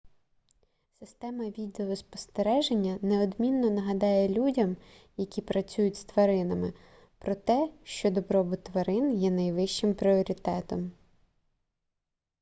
система відеоспостереження неодмінно нагадає людям які працюють з тваринами про те що добробут тварин є найвищим пріоритетом